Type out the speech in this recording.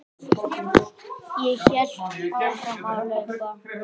Ég hélt áfram að hlaupa.